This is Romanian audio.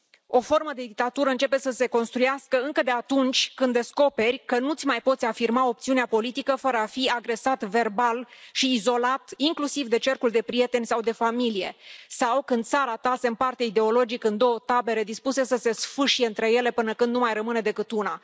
O formă de dictatură începe să se construiască încă de atunci când descoperi că nu ți mai poți afirma opțiunea politică fără a fi agresat verbal și izolat, inclusiv de cercul de prieteni sau de familie, sau când țara ta se împarte ideologic în două tabere dispuse să se sfâșie între ele până când nu mai rămâne decât una.